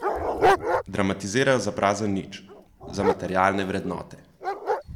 Dramatizirajo za prazen nič, za materialne vrednote.